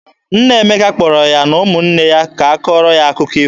Nna Emeka kpọrọ ya na ụmụnne ya ka ọ kọọrọ ha akụkọ ifo.